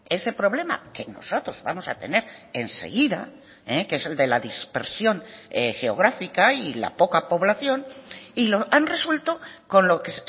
ese problema que nosotros vamos a tener enseguida que es el de la dispersión geográfica y la poca población y lo han resuelto con lo que